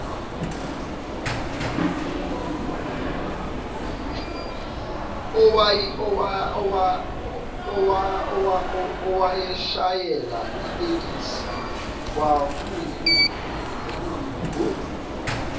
owayeshayela itekisi kwakuyimvu